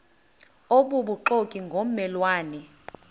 obubuxoki ngomme lwane